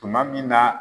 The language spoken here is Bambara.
Tuma min na